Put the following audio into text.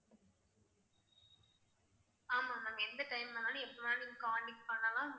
ஆமா ma'am எந்த time வேணுனாலும் எப்ப வேணாலும் நீங்க contact பண்ணலாம். எல்லாமே பண்ணலாம்.